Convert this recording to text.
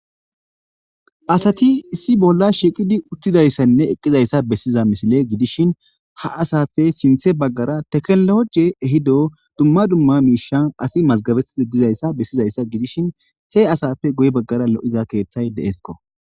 Asat issi bolla shiqid eqidaydanne utidaysa besiza misile gidishn ha asappe sinthe bagara tekinoloje ehida dumma dumma misha asi mazagabetishe dizaysa besizaysa gidishn he asappe guye bagara lo'iza kethay de'esko.